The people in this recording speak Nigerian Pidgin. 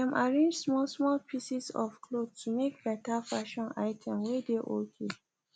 dem arrange small small pieces of cloth to make better fashion item whey dey okay